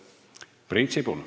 Priit Sibul.